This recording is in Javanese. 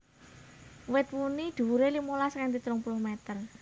Wit wuni dhuwuré limolas nganti telung puluh meter